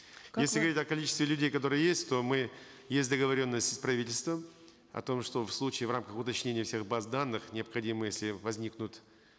говорить о количестве людей которые есть то мы есть договоренность с правительством о том что в случае в рамках уточнения всех баз данных необходимы если возникнут